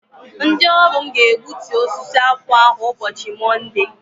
Ndị ọrụ mụ ga- egbútú osisi akwụ ahụ ụbọchị Monde!!!!